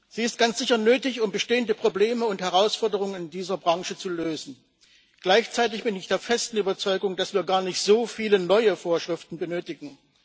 Sie ist ganz sicher nötig, um bestehende Probleme und Herausforderungen in dieser Branche zu lösen. Gleichzeitig bin ich der festen Überzeugung, dass wir gar nicht so viele neue Vorschriften benötigen.